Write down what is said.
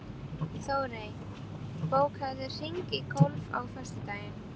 Þórey, bókaðu hring í golf á föstudaginn.